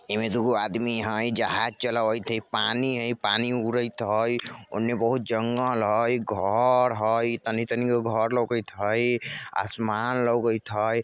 एमे दुगो आदमी है जहाज चलावएत हेय पानी हेय इ पानी मे उरेत हेय ओनने बहुत जंगल हेयघर हेय तनी-तनी गो घर लौगेत हेय असमान लौगेत हेय।